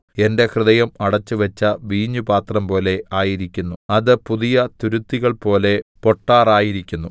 എന്റെ ഹൃദയം അടച്ചുവച്ച വീഞ്ഞുപാത്രം പോലെ ആയിരിക്കുന്നു അത് പുതിയ തുരുത്തികൾപോലെ പൊട്ടാറായിരിക്കുന്നു